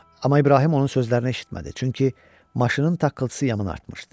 Amma İbrahim onun sözlərini eşitmədi, çünki maşının taqqıltısı yamın artmışdı.